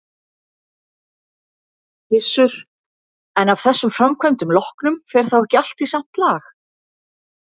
Gissur: En af þessum framkvæmdum loknum, fer þá ekki allt í samt lag?